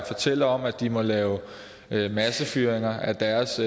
fortæller om at de må lave massefyringer af deres